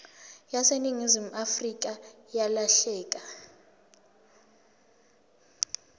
yaseningizimu afrika yalahleka